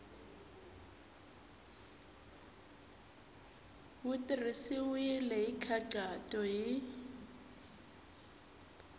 wu tirhisiwile hi nkhaqato hi